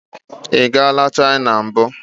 Ị gala China mbụ?